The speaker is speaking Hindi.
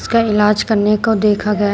का इलाज करने को देखा गया --